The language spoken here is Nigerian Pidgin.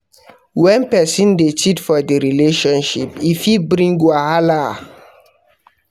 When persin de cheat for the relationship e fit bring wahala